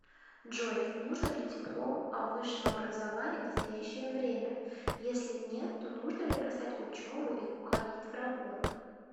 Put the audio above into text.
джой нужен ли диплом о высшем образовании в настоящее время если нет то нужно ли бросать учебу и уходить в работу